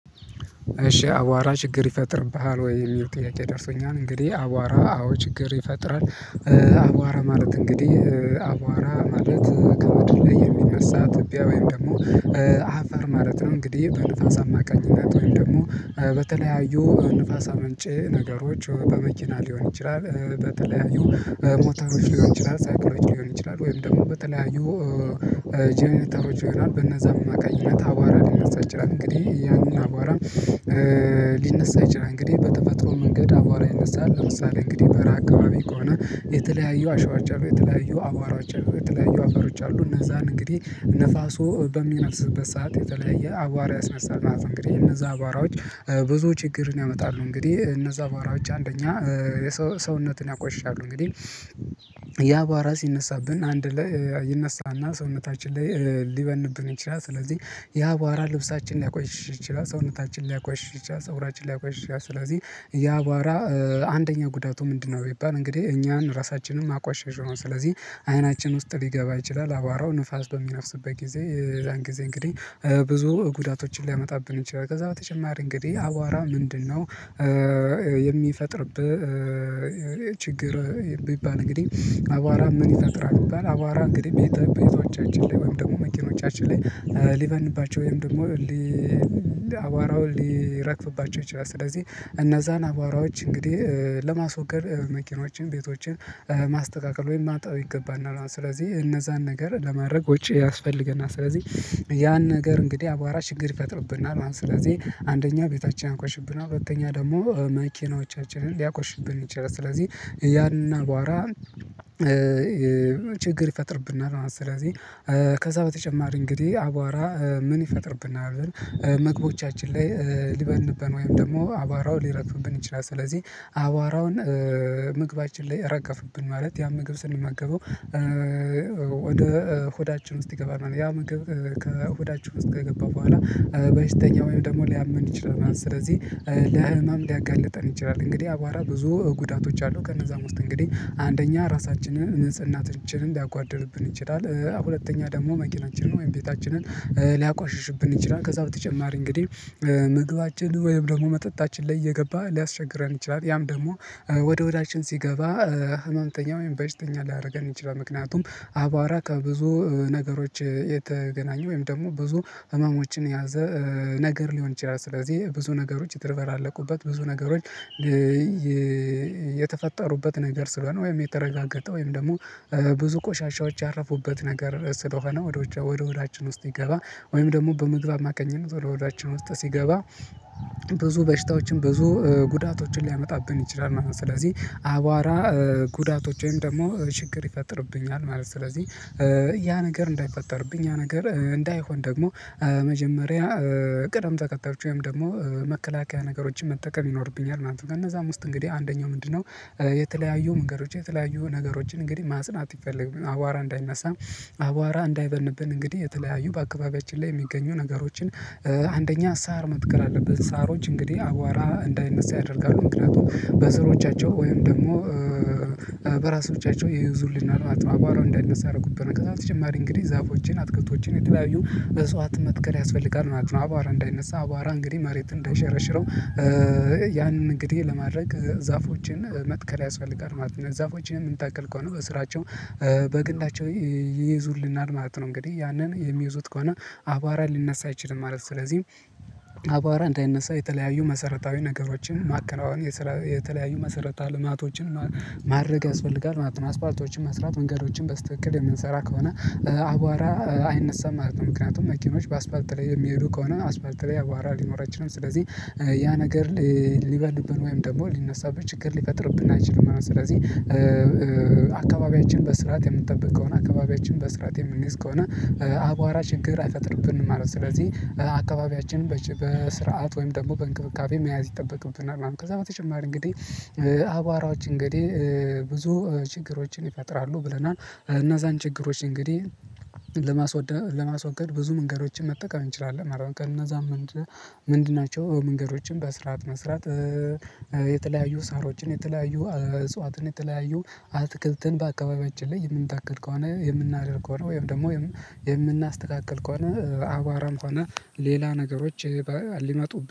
እሺ አቧራ ችግር ይፈጥርብሃል ወይ? የሚል ጥያቄ ደርሶኛል እንግዲህ አቧራ አዎ ችግር ይፈጥራል። አቧራ ማለት እንግዲህ አቧራ ማለት ከምድር ላይ የሚነሳ ትቢያ ወይም ደግሞ አፈር ማለት ነው። እንግዲህ በንፋስ አማካኝነት እንደውም ደግሞ በተለያዩ ንፋስ አመንጭ ነገሮች በመኪና ሊሆን ይችላል። በተለያዩ ሞተሮች ሊሆን ይችላል ሳይክሎጂ ሊሆን ይችላል ወይም ደግሞ በተለያዩ ጀነሬሎች ይሆናል በነዛ አማካኝነት አቧራ ሊነሳ ይችላል እንግዲህ ያንን አባራ ሊነሳ ይችላል። እንግዲህ በተፈጥሮ መንገድ አቧራ ይነሳል ለምሳሌ እንግዲህ በረሃ አካባቢ ከሆነ የተለያዩ አሸዋዎች የተለያዩ አቧራዎች የተለያዩ አፈሮ አሉ እነዛን እንግዲህ ንፋሱ በሚነፍስበት ሰዓት የተለያየ አቧራ ያስነሳል ማለት ነው። እንግዲህ እነዛ በአቧራዎች ብዙ ችግር ያመጣሉ። እንግዲህ እነዛ በአቧራዎች አንደኛ ሰውነትን ያቆሻሉ እንግዲህ ያ አቧራ ሲነሳብን አንድ ላይ ይነሳና ሰውነታችን ላይ ሊበንብን ይችላል። ስለዚህ ያ በአባራ ልብሳችን ሊያቆይሽ ይችላል ሰውነታችን ሊያቆይሽ ይችላል ፀጉራችን ሊያቆሽሽ ይችላል። ስለዚህ ያ አባራ አንደኛ ጉዳቱ ምንድነው ቢባል እንግዲህ እኛን ራሳችንን ማቋሸሽ ነው። ስለዚህ አይናችን ውስጥ ሊገባ ይችላል አቧራው ንፋስ በሚነፍስበት ጊዜ የዛን ጊዜ እንግዲህ ብዙ ጉዳቶችን ሊያመጣብን ይችላል። ከዛ በተጨማሪ እንግዲህ አቧራ ምንድነው የሚፈጥርብህ ችግር የሚባል እንግዲህ አቧራ ምን ይፈጥራል? ይባል አቧራ እንግዲህ በየት በየት እጫችን ላይ ወይም ደግሞ መኪናናዎቻችን ላይ ሊበንባቸው ወይም ደግሞ አቧራው እንዲህ ሊረግፍባቸው ይችላል። ስለዚህ እነዛን አቧራዎች እንግዲህ ለማስወገድ መኪናዎችን ቤቶችን ማስተካከል ወይም ማጠብ ይገባናል ስለዚህ እነዛን ነገር ለማድረግ ወጪ ያስፈልገናል። ስለዚህ ያን ነገር እንግዲህ አቧራ ችግር ይፈጥርብናል። ማለት ስለዚህ አንደኛ ቤታችን ያቆሽሽብናል አራተኛ ደግሞ መኪናዎቻችንን ሊያቆሽሽብን ይችላል። ስለዚህ ያንን አቧራ ችግር ይፈጥርብናል ማለት ነው። ስለዚህ ከዛ በተጨማሪ እንግዲህ አቧራ ምን ይፈጥርብናል? ምግቦቻችን ላይ ሊበንብን ወይም ደግሞ አቧራው ሊረግፍብን ይችላል። ስለዚህ አቧራውን ምግባችን ላይ ረገፍብን ማለት ያን ምግብ ስንመገበው ወደ ሆዳችን ውስጥ ይገባናል ያ ምግብ ከሆዳችን ውስጥ ከገባ በኋላ በሽተኛ ወይም ደግሞ ሊያመን ይችላል። ስለዚህ ለህመም ሊያጋልጠን ይችላል። እንግዲህ አቧራ ብዙ ጉዳቶች አሉ። ከነዛም ውስጥ እንግዲህ አንደኛ ራሳችንን ንጽህናችንን ሊያጓድልብን እንችላለን ሁለተኛ ደግሞ መኪናችንን ወይም ቤታችንን ሊያቆሽሽብን ይችላል። ከዛ በተጨማሪ እንግዲህ ምግባችን ወይም ደግሞ መጠጣችን ላይ እየገባ ሊያስቸግረን ይችላል ያም ደግሞ ወደ ሆዳችን ሲገባ ህመምተኛ ወም በሽተኛ ሊያደርገን ይችላል። ምክንያቱም አቧራ ከብዙ ነገሮች የተገናኙ ወይም ደግሞ ብዙ ህመሞችን የያዘ ነገር ሊሆን ይችላል። ስለዚህ ብዙ ነገሮች የተደበላለቁበት ብዙ ነገሮች የተፈጠሩበት ነገር ስለሆነ ወይም የተረጋገጠ ወይም ደግሞ ብዙ ቆሻሻዎች ያረፉበት ነገር ስለሆነ ወደ ሆዳችን ውስጥ ሲገባ ወይም ደግሞ በምግብ አማካኝነት ወደ ሆዳችነ ውስጥ ሲገባ ብዙ በሽታዎችን ብዙ ጉዳቶችን ሊያመጣብን ይችላል ማለት ነው። ስለዚህ አቧራ ጉዳቶች ወይም ደግሞ ችግር ይፈጥርብኛል ማለት ነው። ስለዚህ ያ ነገር እንዳይፈጠርብኝ ያ ነገር እንዳይሆን ደግሞ መጀመሪያ ቅደም ተከተሎች ወይም ደግሞ መከላከያ ነገሮችን መጠቀም ይኖርብኛል ማለት ነው። ከእነዛ ውስጥ እንግዲህ አንደኛው ምንድነው የተለያዩ መንገዶች የተለያዩ ነገሮችን እንግዲህ ማጽናት ይፈልግብናል። አቧራ እንዳይነሳም አቧራ እንዳይበንብን እንግዲህ የተለያዩ በአካባቢያችን ላይ የሚገኙ ነገሮችን አንደኛ ሳር መትከር አለብን ሳሮች እንግዲህ አቧራ እንዳይነሳ ያደርጋሉ ምክንያቱም በስሮቻቸው ወይም ደግሞ በራሶቻቸው ይይዙልኛል ማለት ነው። አቧራ እንዳይነሳ አደረጉብን ከዛ በተጨማሪ እንግዲህ ዛፎቼን አትክልቶችን የተለያዩ እጽዋትን መትከል ያስፈልጋል ማለት ነው። አቧራ እንዳይነሳ አቧራ እንግዲህ መሬቱን እንዳይሸረሽረው ያንን እንግዲህ ለማድረግ ዛፎችን መትከል ያስፈልጋል ማለት ነው። ዛፎችን የምንተክል ከሆነ በስራቸው በግንዳቸው ይይዙልናል ማለት ነው። እንግዲህ ያንን የሚይዙት ከሆነ አቧራን ሊነሳ አይችልም ማለት ነው። ስለዚህ አቧራ እንዳይነሳ የተለያዩ መሰረታዊ ነገሮችን ማከናወን የተለያዩ መሰረተ ልማቶችን ማድረግ ያስፈልጋል ማለት ነው። አስፓልቶችን መስራት መንገዶችን በስተክክል የምንሰራ ከሆነ አቧራ አይነሳም ማለት ነው። ምክንያቱም መኪኖች በአስፋልት ላይ የሚሄዱ ከሆነ አስፋልት ላይ አቧራ ሊኖር አይችልም ስለዚህ ያ ነገር ሊበዱብን ወይም ደግሞ ሊነሳብን ችግር ሊፈጥርብን አይችልም። ስለዚህ አካባቢያችን በስርዓት የምንጠብቀውና አካባቢያችን በስርዓት የምንይዝ ከሆነ አቧራ ችግር አይፈጥርብንም ማለት ነው። ስለዚህ አካባቢያችንን በስርዓት ወይም ደግሞ በእንክብካቤ መያዝ ይጠበቅብናል። ከዛ በተጨማሪ እንግዲህ አቧራዎች እንግዲህ ብዙ ችግሮችን ይፈጥራሉ ብለናል እናዛን ችግሮች እንግዲህ ለማስወገድ ብዙ መንገዶችን መጠቀም እንችላለን አረ ቀን እነዛም ነገሮች ምንድን ናቸው? መንገዶችን በስርዓት መስራት የተለያዩ ሳሮችን የተለያዩ እጽዋትን የተለያዩ አትክልትን በአካባቢያችን ላይ የምንተክል ከሆነ የምናደርግ ከሆነ ወይም ደግሞ የምናስተካክል ከሆነ አቧራም ሆነ ሌላ ነገሮች ሊመጡ